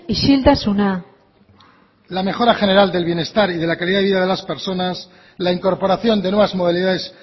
isiltasuna la mejora general del bienestar y de la calidad de vida de las personas la incorporación de nuevas modalidades